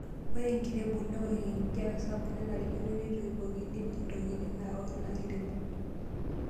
Ore enkirebuk neok enkijiape sapuk nenarikino neitoipokini ntokiting' naok ina kirebuk.